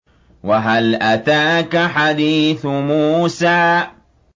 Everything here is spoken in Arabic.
وَهَلْ أَتَاكَ حَدِيثُ مُوسَىٰ